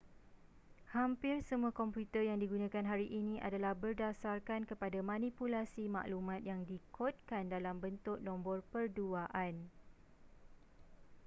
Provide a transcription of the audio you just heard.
hampir semua komputer yang digunakan hari ini adalah berdasarkan kepada manipulasi maklumat yang dikodkan dalam bentuk nombor perduaan